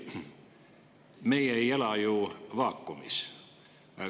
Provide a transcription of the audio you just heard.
Me ei ela ju vaakumis.